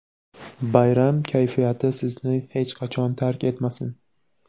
Bayram kayfiyati sizni hech qachon tark etmasin!.